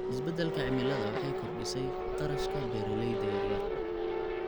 Isbeddelka cimiladu waxay kordhisay kharashka beeralayda yar yar.